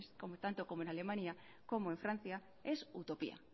como tanto como en alemania como en francia es utopía